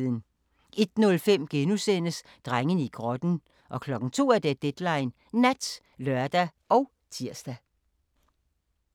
01:05: Drengene i grotten * 02:00: Deadline Nat (lør og tir)